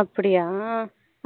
அப்படியா